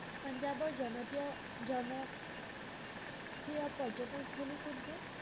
পঞ্জাৱৰ জনতিয় জন প্ৰিয় পৰ্যতনস্থলী কোনটো?